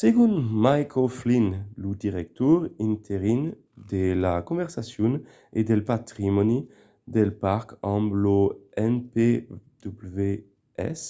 segon mick o'flynn lo director interin de la conservacion e del patrimòni del parc amb lo npws